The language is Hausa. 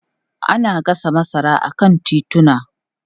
Ana gasa masara a kan tituna.